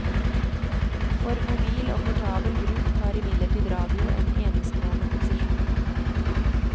For mobil og portabel bruk har imidlertid radio en enestående posisjon.